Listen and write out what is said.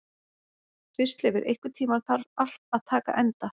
Kristleifur, einhvern tímann þarf allt að taka enda.